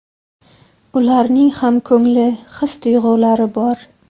Ularning ham ko‘ngli, his- tuyg‘ulari bor.